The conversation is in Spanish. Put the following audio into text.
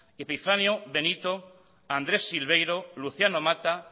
epifanio benito andrés silverio luciano mata